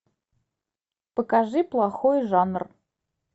покажи плохой жанр